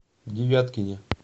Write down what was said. девяткине